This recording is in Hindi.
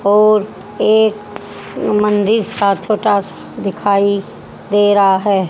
और एक मंदिर सा छोटा सा दिखाई दे रहा है।